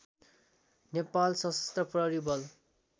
नेपाल सशस्त्र प्रहरी बल